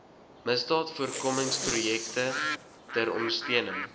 misdaadvoorkomingsprojekte ter ondersteuning